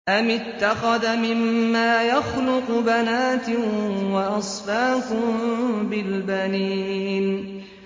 أَمِ اتَّخَذَ مِمَّا يَخْلُقُ بَنَاتٍ وَأَصْفَاكُم بِالْبَنِينَ